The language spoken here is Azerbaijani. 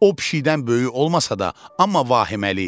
O pişiyindən böyük olmasa da, amma vahiməli idi.